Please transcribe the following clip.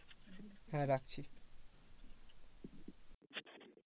হ্যাঁ রাখছি।